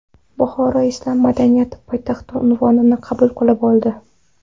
Buxoro Islom madaniyati poytaxti unvonini qabul qilib oldi.